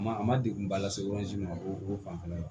Ma a ma degunba lase ma o o fanfɛla la